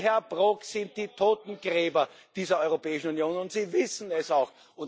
Sie, Herr Brok, sind die Totengräber dieser Europäischen Union und Sie wissen es auch.